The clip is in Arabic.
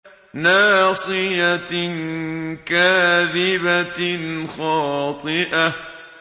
نَاصِيَةٍ كَاذِبَةٍ خَاطِئَةٍ